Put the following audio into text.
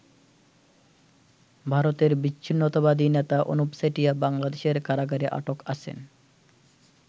ভারতের বিচ্ছিন্নতাবাদী নেতা অনুপ চেটিয়া বাংলাদেশের কারাগারে আটক আছেন।